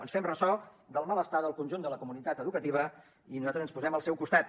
ens fem ressò del malestar del conjunt de la comunitat educativa i nosaltres ens posem al seu costat